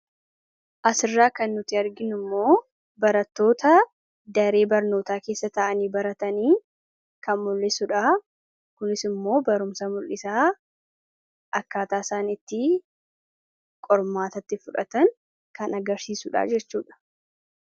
As irraa kan nuti arginuu immoo baratoota daree barnootaa keessa ta'anii baratanii kan mul'isuudha. kunis immoo barumsa mul'isaa akkaataa isaani qormaatatti fudhatan kan agarsiisuudha jechuudha.